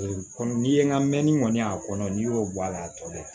komi n'i ye n ka mɛnni kɔni y'a kɔnɔ n'i y'o bɔ a la a tɔ bɛ